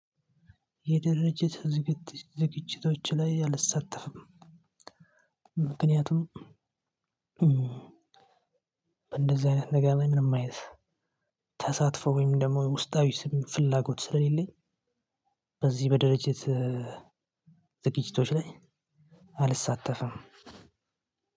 የድርጅት ዝግጂቶች ላይ አልሳተፍም። ምክንያቱም በእንደዚህ አይነት ነገር ምንም አይነት ተሳትፎ ወይም ደግሞ ውስጣዊ ፍላጎት ስለሌለኝ። በዚህ በድርጅት ዝግጂቶች ላይ አልሳተፍም።